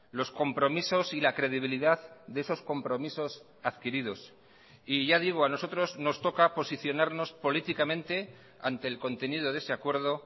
los compromisos y la credibilidad de esos compromisos adquiridos y ya digo a nosotros nos toca posicionarnos políticamente ante el contenido de ese acuerdo